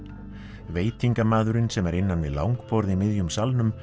veitingamaðurinn sem er innan við langborð í miðjum salnum